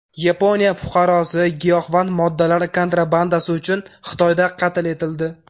Yaponiya fuqarosi giyohvand moddalar kontrabandasi uchun Xitoyda qatl etildi.